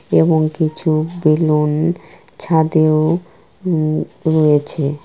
এবং কিছু বেলুন ছাদেও উম রয়েছে।